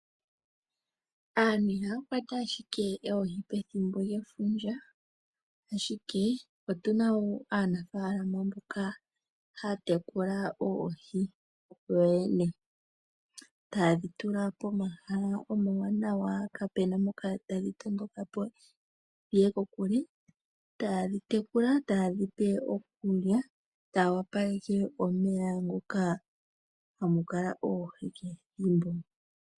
Aanfu ihaya kwata ashike oohi pethimbo lyefundja ashike otuna woo aanafalama mboka haya tekula oohi kuyo yene ,tayedhi tula pomahala omawanawa kapena mpoka tadhi matukapo , ta yedhi tekula ,tayedhipe iikulya yo taya opaleke omeya moka hamu kala oohi kehe ethimbo.